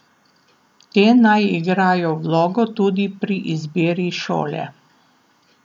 Te naj igrajo vlogo tudi pri izbiri šole.